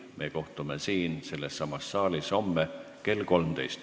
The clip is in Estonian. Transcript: Me kohtume siin sellessamas saalis homme kell 13.